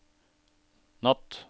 natt